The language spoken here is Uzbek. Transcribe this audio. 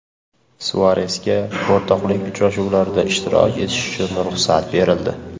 Suaresga o‘rtoqlik uchrashuvlarida ishtirok etishi uchun ruxsat berildi.